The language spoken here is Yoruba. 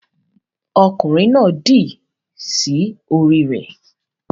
Ọkunrin náà dì sí orí rẹ